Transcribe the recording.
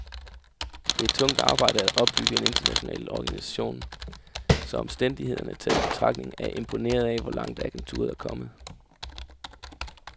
Det er tungt arbejde at opbygge en international organisation, så omstændighederne taget i betragtning er jeg imponeret af, hvor langt agenturet er kommet.